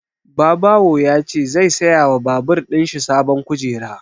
Babawo ya ce zai saya wa babur ɗin shi sabon kujera